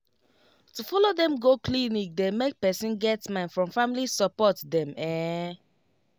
to follow dem go clinic dey make person get mind from family support dem ehn